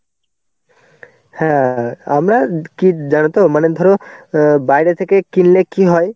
হ্যাঁ. আমরা কি জানো তো? মানে ধরো অ্যাঁ বাইরে থেকে কিনলে কি হয়.